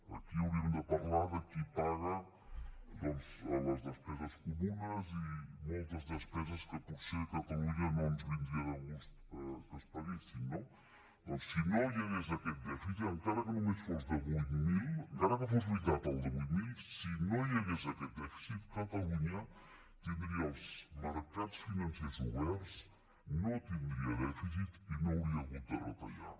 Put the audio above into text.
aquí hauríem de parlar de qui paga doncs les despeses comunes i moltes despeses que potser a catalunya no ens vindria de gust que es paguessin no doncs si no hi hagués aquest dèficit encara que només fos de vuit mil encara que fos veritat el de vuit mil si no hi hagués aquest dèficit catalunya tindria els mercats financers oberts no tindria dèficit i no hauria hagut de retallar